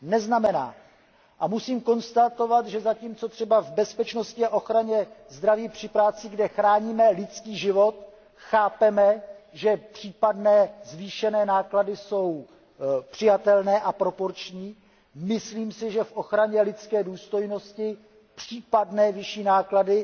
A musím konstatovat, že zatímco třeba v bezpečnosti a ochraně zdraví při práci, kde chráníme lidský život, chápeme, že případné zvýšené základy jsou přijatelné a proporční, myslím si, že v ochraně lidské důstojnosti případné vyšší náklady